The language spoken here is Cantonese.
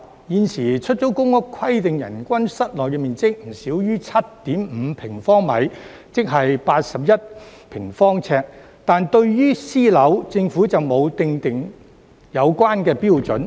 現時出租公屋規定人均室內面積不少於 7.5 平方米，即約81平方呎，但對於私樓，政府並沒有訂定有關標準。